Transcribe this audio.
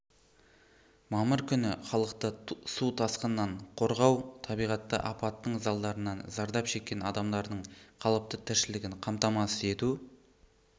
мамыр күні халықты су тасқыннан қорғау табиғи апаттың залдарынан зардап шеккен адамдардың қалыпты тіршілігін қамтамасыз ету